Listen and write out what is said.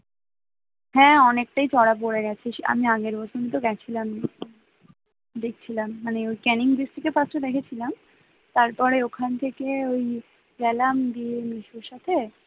হ্যাঁ অনেকটাই চড়া পরে গেছে আমি আগের বছরই তো গেছিলাম দেখছিলাম মানে ওই ক্যানিং bride থেকে গেছিলাম তারপরে ওখান থেকে ওই গেলাম দিয়ে ওই মেসোর সাথে